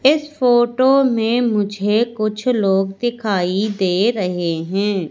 इस फोटो में मुझे कुछ लोग दिखाई दे रहे हैं।